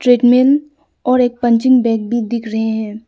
Treadmill और एक punching bag भी दिख रहे हैं।